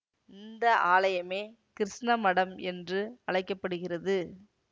இந்த ஆலயமே கிருஷ்ண மடம் என்று அழைக்க படுகிறது